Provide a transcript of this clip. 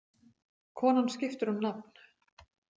Konan skiptir um nafn.